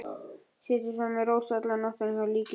Setið svo með Rósu alla nóttina hjá líkinu.